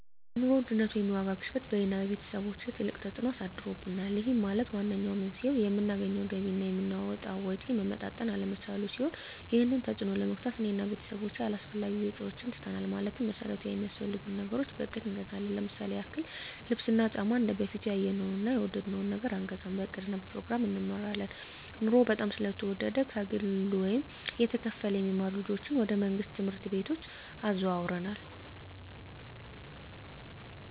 የኑሮ ውድነት ወይም የዋጋ ግሽበት በእኔ እና በቤተሰቦቸ ትልቅ ተፅእኖ አሳድሮብናል ይህም ማለት ዋነኛው መንስኤው የምናገኘው ገቢ እና የምናወጣው ወጪ መመጣጠን አለመቻሉን ሲሆን ይህንን ተፅዕኖ ለመግታት እኔ እና ቤተሰቦቸ አላስፈላጊ ወጪዎችን ትተናል ማለትም መሠረታዊ ሚያስፈልጉንን ነገሮች በእቅድ እንገዛለን ለምሳሌ ያክል ልብስ እና ጫማ እንደበፊቱ ያየነውን እና የወደድነውን ነገር አንገዛም በእቅድ እና በፕሮግራም እንመራለን ኑሮው በጣም ስለተወደደ ከግለ ወይም እየተከፈለ የሚማሩ ልጆችን ወደ መንግሥት ትምህርት ቤቶች አዘዋውረናል